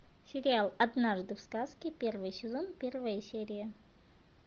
сериал однажды в сказке первый сезон первая серия